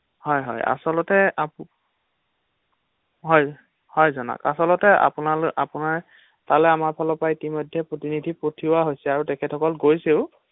হয় হয় আচলতে হয় হয় জানক আচলতে আপোনাৰ ফালে আমাৰ ফালৰপৰা ইতিমধ্য প্ৰতিনিধি পঠিওঁৱা হৈছে আৰু তেখেতসকল গৈছে ও ৷